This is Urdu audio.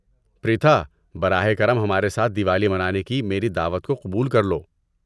پریتھا، براہ کرم ہمارے ساتھ دیوالی منانے کی میری دعوت کو قبول کر لو۔